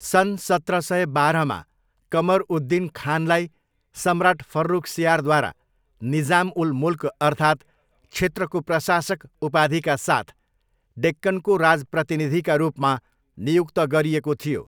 सन् सत्र सय बाह्रमा कमर उद दिन खानलाई सम्राट फर्रुखसियारद्वारा निजाम उल मुल्क अर्थात 'क्षेत्रको प्रशासक' उपाधिका साथ डेक्कनको राजप्रतिनिधिका रूपमा नियुक्त गरिएको थियो।